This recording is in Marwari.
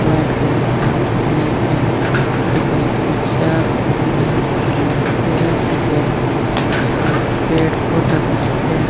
वाइट कलर की भीत है बे भीत पर चार फूल है कने पेडिया सी है और पेड़ पौधा भी दिखे है।